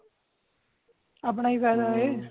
ਆਪਣਾ ਹੀ ਫਾਇਦਾ ਏ